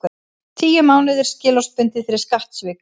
Tíu mánuðir skilorðsbundið fyrir skattsvik